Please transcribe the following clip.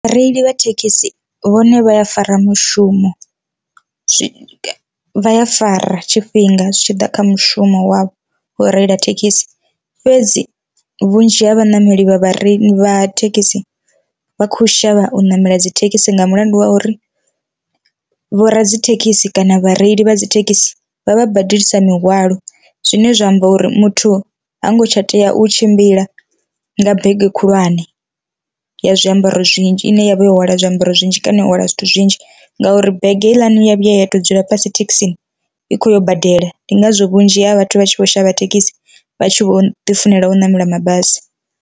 Vhareili vha thekhisi vhone vha ya fara mushumo zwi vhaya fara tshifhinga zwi tshi ḓa kha mushumo wavho u reila thekhisi, fhedzi vhunzhi ha vhanameli vha vhareili vha thekhisi vha khou shavha u namela dzithekhisi nga mulandu wa uri, vho radzithekhisi kana vhareili vha dzithekhisi vha vha badelisa mihwalo, zwine zwa amba uri muthu hango tsha tea u tshimbila nga bege khulwane ya zwiambaro zwinzhi ine yavha yo hwala zwiambaro zwinzhi kana u hwala zwithu zwinzhi, ngauri bege heiḽani ya vhuya ya to dzula fhasi thekhisini i khoyo badela ndi ngazwo vhunzhi ha vhathu vha tshi vho shavha thekhisi vhatshi vho ḓi funela u ṋamela mabasi.